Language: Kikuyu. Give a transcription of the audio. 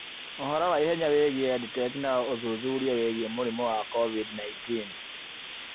Ũhoro wa ihenya wĩgiĩ EdTech na ũthuthuria wĩgiĩ mũrimũ wa COVID-19